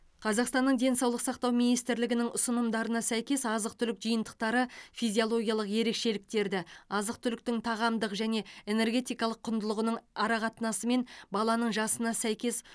қазақстанның денсаулық сақтау министрлігінің ұсынымдарына сәйкес азық түлік жиынтықтары физиологиялық ерекшеліктерді азық түліктің тағамдық және энергетикалық құндылығының арақатынасы мен баланың жасына сәйкес